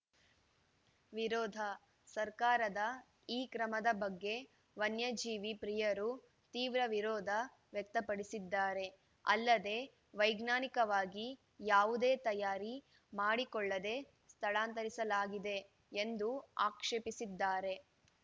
ವಿರೋಧ ಸರ್ಕಾರದ ಈ ಕ್ರಮದ ಬಗ್ಗೆ ವನ್ಯಜೀವಿ ಪ್ರಿಯರು ತೀವ್ರ ವಿರೋಧ ವ್ಯಕ್ತಪಡಿಸಿದ್ದಾರೆ ಅಲ್ಲದೆ ವೈಜ್ಞಾನಿಕವಾಗಿ ಯಾವುದೇ ತಯಾರಿ ಮಾಡಿಕೊಳ್ಳದೇ ಸ್ಥಳಾಂತರಿಸಲಾಗಿದೆ ಎಂದು ಆಕ್ಷೇಪಿಸಿದ್ದಾರೆ